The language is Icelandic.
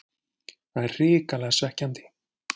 Það er hrikalega svekkjandi.